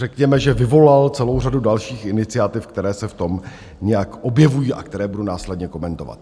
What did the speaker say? Řekněme, že vyvolal celou řadu dalších iniciativ, které se v tom nějak objevují a které budu následně komentovat.